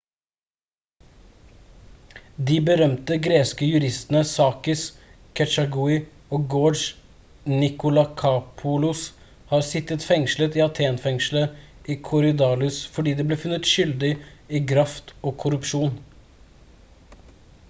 de berømte greske juristene sakis kechagiou og george nikolakopoulos har sittet fengslet i athen-fengselet i korydalus fordi de ble funnet skyldig i graft og korrupsjon